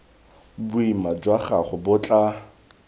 boima jwa gago bo tla